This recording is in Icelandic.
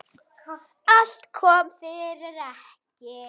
Allt kom fyrir ekki.